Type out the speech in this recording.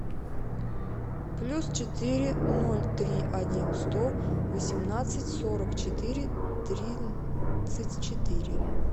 плюс четыре ноль три один сто восемнадцать сорок четыре тридцать четыре